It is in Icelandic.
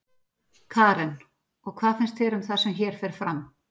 Karen: Og hvað finnst þér um það sem hér fer fram?